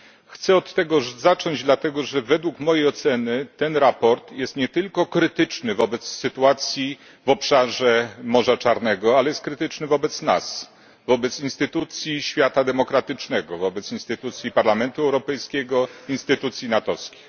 Chcę od tego zacząć, dlatego że według mojej oceny to sprawozdanie jest nie tylko krytyczne wobec sytuacji w obszarze Morza Czarnego, ale też krytyczne wobec nas wobec instytucji, świata demokratycznego, wobec instytucji Parlamentu Europejskiego, instytucji natowskich.